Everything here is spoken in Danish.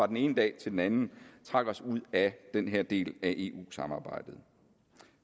den ene dag til den anden trak os ud af den her del af eu samarbejdet